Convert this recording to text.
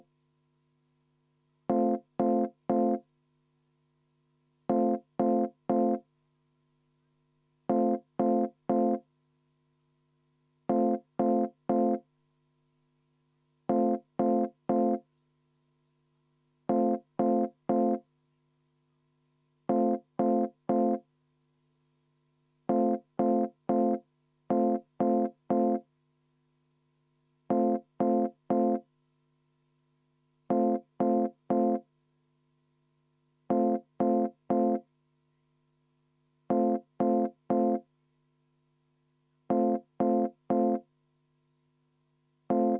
V a h e a e g